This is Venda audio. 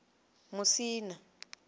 musina